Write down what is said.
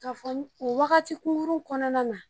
Ka fɔ u wagati kunkurun kɔnɔna na